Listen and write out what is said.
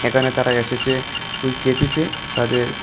এখানে তারা এসেছে ওই কেপিতে তাদের।